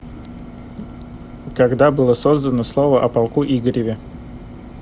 когда было создано слово о полку игореве